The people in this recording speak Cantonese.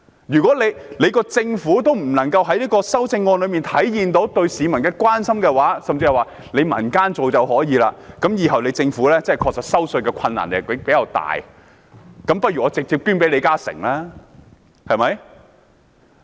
如果政府無法在修正案中體現對市民的關心，甚至說可由民間來做，以後政府實在難以徵稅。我倒不如直接把稅款捐給李嘉誠，對嗎？